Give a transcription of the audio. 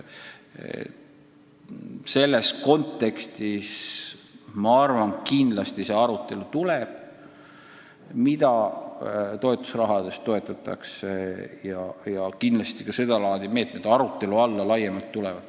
Selles kontekstis ma arvan, et kindlasti seisab ees arutelu, mida toetusrahaga ikkagi toetatakse, ja küllap ka sedalaadi meetmed tulevad kõne alla.